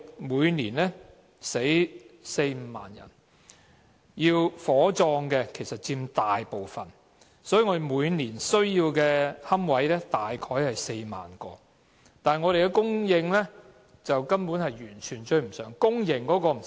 每年有四五萬人去世，火葬佔大部分，每年需要的龕位大約4萬個，但供應根本完全追不上，公營龕位更不用說。